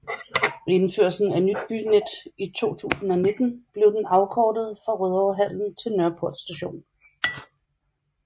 Ved indførelsen af Nyt Bynet i 2019 blev den afkortet fra Rødovrehallen til Nørreport st